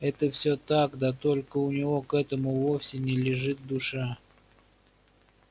это всё так да только у него к этому вовсе не лежит душа